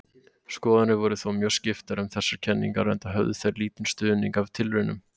Skoðanir voru þó mjög skiptar um þessar kenningar enda höfðu þær lítinn stuðning af tilraunum.